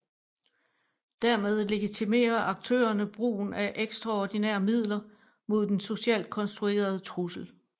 Dermed legitimerer aktørerne brugen af ekstraordinære midler mod den socialt konstruerede trussel